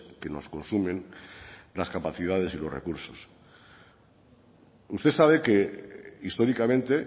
que nos consumen las capacidades y los recursos usted sabe que históricamente